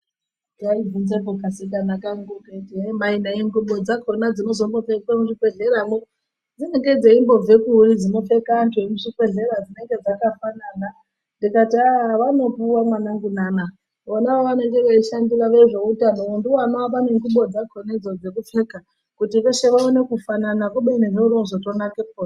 Kaibvunzepo kasikana kangu kaiti mai nayi ngubo dzakona dzinozombopfekwe muzvibhehleramwo dzinenge dzeimbobvekuri dzino pfeka antu emuzvibhehlera dzinenge dzakafanana ndikati aah vanopuwa mwanangu nana vona vavanenge veishandira vezveutanowo ndiwo vanoapa nengubo dzakona dzo dzekupfeka kuti veshe vaone kufanana kubeni zvobaazotonakepo.